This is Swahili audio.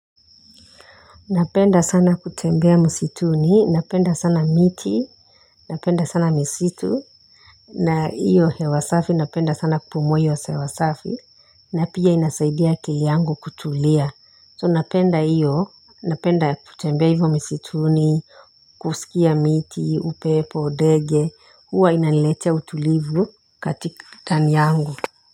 Napenda sana kutembea msituni, napenda sana miti, napenda sana misitu, na iyo hewa safi napenda sana kupumua iyo hewa safi, na pia inasaidia akili yangu kutulia. So napenda iyo, napenda kutembea hivyo misituni, kusikia miti, upepo ndege, huwa inaniletea utulivu katika ndani yangu.